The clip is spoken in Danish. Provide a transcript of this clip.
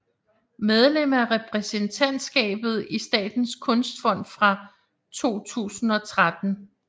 Medlem af repræsentantskabet i Statens kunstfond fra 2013